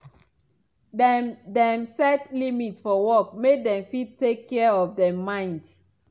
dem dem set limit for work make dem fit take care of dem mind.